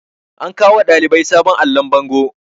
an kawo wa ɗalibai sabon allon bango